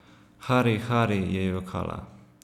Hari, Hari, je jokala ...